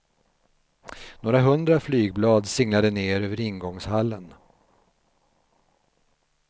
Några hundra flygblad singlade ner över ingångshallen.